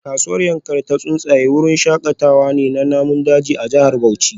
Kasuwar Yankari Ta Tsuntsaye wurin shakatawa ne na namun daji a jihar Bauchi